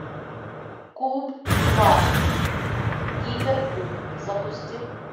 куб два гиперкуб запусти